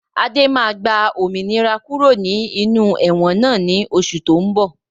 Adé máa gba òmìnira kúrò ní inú ẹ̀wọ̀n náà ni oṣù to ń bọ̀